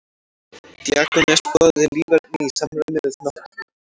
Díógenes boðaði líferni í samræmi við náttúruna.